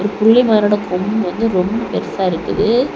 புள்ளி மான் ஓட கொம்பு வந்து ரொம்ப பெருசா இருக்குது.